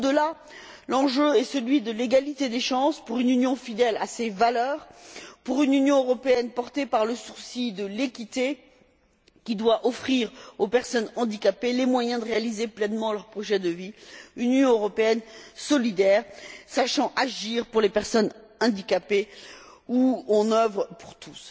Au delà, l'enjeu est celui de l'égalité des chances, pour une Union fidèle à ses valeurs, pour une Union européenne portée par le souci de l'équité, qui doit offrir aux personnes handicapées les moyens de réaliser pleinement leur projet de vie, pour une Union européenne solidaire sachant agir pour les personnes handicapées, une Union où on œuvre pour tous.